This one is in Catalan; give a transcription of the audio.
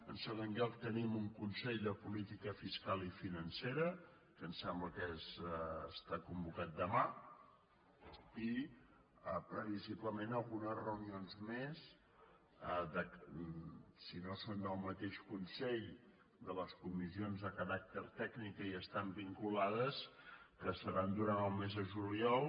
en segon lloc tenim un consell de política fiscal i financera que em sembla que està convocat demà i previsiblement algunes reunions més si no són del mateix consell de les comissions de caràcter tècnic que hi estan vinculades que seran durant el mes de juliol